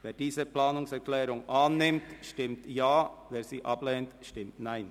Wer diese Planungserklärung annimmt, stimmt Ja, wer sie ablehnt, stimmt Nein.